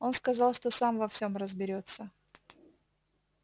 он сказал что сам во всём разберётся